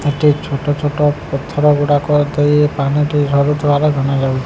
ଏଠି ଛୋଟ ଛୋଟ ପଥର ଗୁଡାକ ଦେଇ ପାଣିଟି ଝରୁଥିବାର ଜଣାଜାଉଚି।